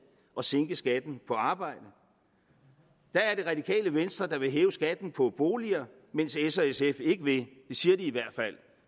og sænke skatten på arbejde det radikale venstre vil hæve skatten på boliger mens s og sf ikke vil det siger de i hvert fald